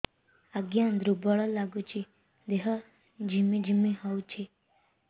ଆଜ୍ଞା ଦୁର୍ବଳ ଲାଗୁଚି ଦେହ ଝିମଝିମ ହଉଛି